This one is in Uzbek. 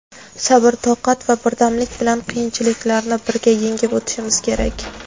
Sabr toqat va birdamlik bilan qiyinchiliklarni birga yengib o‘tishimiz kerak.